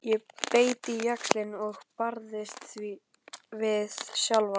Ég beit á jaxlinn og barðist við sjálfa mig.